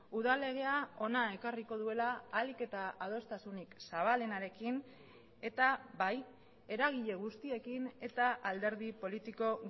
udal legea hona ekarriko duela ahalik eta adostasunik zabalenarekin eta bai eragile guztiekin eta alderdi politiko